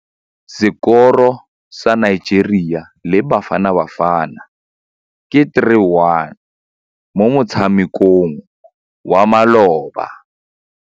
Sekôrô sa Nigeria le Bafanabafana ke 3-1 mo motshamekong wa malôba.